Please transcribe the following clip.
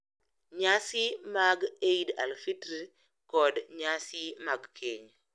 Nyasi mar Eid al-Fitr, kod nyasi mag keny.